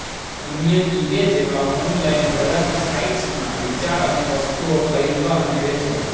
અન્ય ઇબે જેવા ઑનલાઇન હરાજી સાઇટ્સમાં વિચાર અને વસ્તુઓ ખરીદવા અને વેચવા